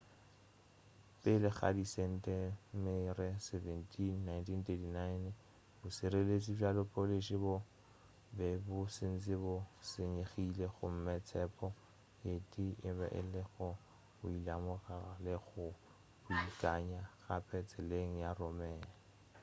pele ga di setemere 17 1939 bošireletši bja polish bo be bo šetše bo senyegile gomme tshepo ye tee e be e le go boelamorago le go beakanya gape tseleng ya roman